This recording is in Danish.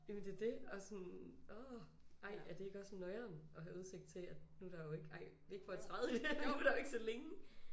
Jamen det dét og sådan åh ej er det ikke også noieren at have udsigt til at nu er der jo ikke ej ikke for at træde i det men nu er der jo ikke så længe!